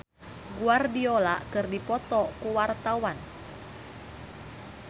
Abah Us Us jeung Pep Guardiola keur dipoto ku wartawan